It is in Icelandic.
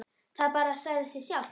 Það bara sagði sig sjálft.